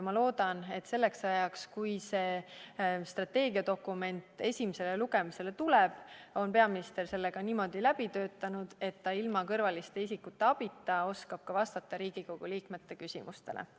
Ma loodan, et selleks ajaks, kui see strateegiadokument esimesele lugemisele tuleb, on peaminister selle niimoodi läbi töötanud, et ta ilma kõrvaliste isikute abita oskab vastata ka Riigikogu liikmete küsimustele.